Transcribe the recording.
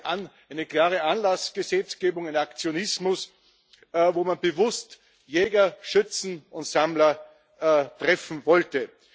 Also eine klare Anlassgesetzgebung, ein Aktionismus, wo man bewusst Jäger, Schützen und Sammler treffen wollte.